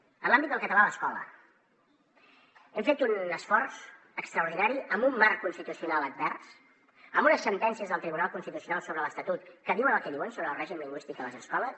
en l’àmbit del català a l’escola hem fet un esforç extraordinari amb un marc constitucional advers amb unes sentències del tribunal constitucional sobre l’estatut que diuen el que diuen sobre el règim lingüístic a les escoles